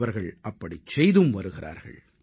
அவர்கள் அப்படிச் செய்தும் வருகிறார்கள்